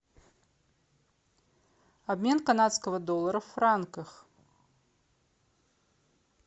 обмен канадского доллара в франках